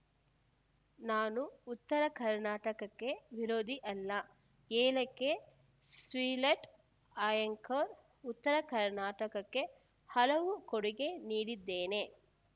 ನಾನು ಉತ್ತರ ಕರ್ನಾಟಕಕ್ಕೆ ವಿರೋಧಿ ಅಲ್ಲ ಏಳಕ್ಕೆ ಸ್ರಿಲೆಟ್ ಆ್ಯಂಕರ್‌ ಉತ್ತರ ಕರ್ನಾಟಕಕ್ಕೆ ಹಲವು ಕೊಡುಗೆ ನೀಡಿದ್ದೇನೆ